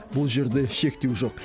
бұл жерде шектеу жоқ